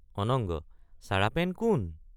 অনঙ্গ—চাৰাপেন কোন?